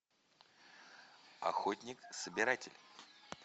охотник собиратель